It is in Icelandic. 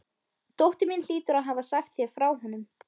Dóttir mín hlýtur að hafa sagt þér frá honum.